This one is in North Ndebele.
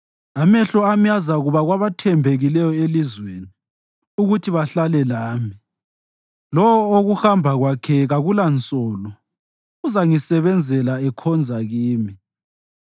Amehlo ami azakuba kwabathembekileyo elizweni, ukuthi bahlale lami; lowo okuhamba kwakhe kakulansolo uzangisebenzela ekhonza kimi.